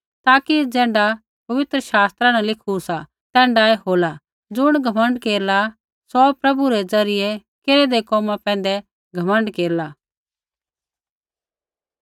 ताकि ज़ैण्ढा पवित्र शास्त्रा न लिखू सा तैण्ढाऐ होला ज़ुण घमण्ड केरला सौ प्रभु रै ज़रियै केरेदै कोमा पैंधै घमण्ड केरला